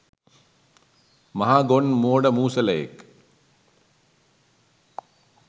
මහා ගොන් මෝඩ මුසලයෙක්